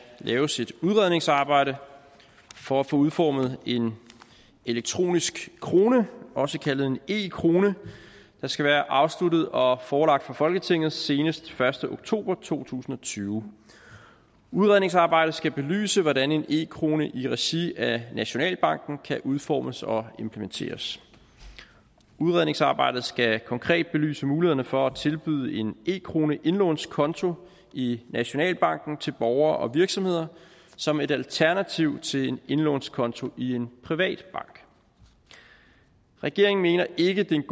laves et udredningsarbejde for at få udformet en elektronisk krone også kaldet en e krone der skal være afsluttet og forelagt for folketinget senest den første oktober to tusind og tyve udredningsarbejdet skal belyse hvordan en e krone i regi af nationalbanken kan udformes og implementeres udredningsarbejdet skal konkret belyse muligheden for at tilbyde en e kroneindlånskonto i nationalbanken til borgere og virksomheder som et alternativ til en indlånskonto i en privat bank regeringen mener ikke at det er en